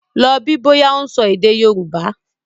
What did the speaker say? Lọ bí bọ́yá ó ń sọ èdè Yorùbá!